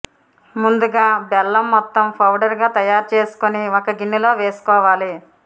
ముందుగా బెల్లం మొత్తం పౌడర్ గా తయారు చేసుకొని ఒక గిన్నెలో వేసుకోవాలి